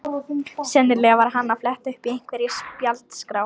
Sennilega var hann að fletta upp í einhverri spjaldskrá.